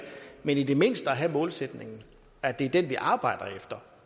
men i det mindste at have målsætningen at det er den vi arbejder efter